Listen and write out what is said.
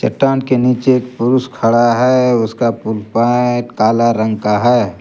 चट्टान के नीचे एक पुरुष खड़ा है उसका पेंट काला रंग का है।